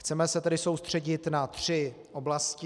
Chceme se tedy soustředit na tři oblasti.